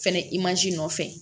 Fɛnɛ nɔfɛ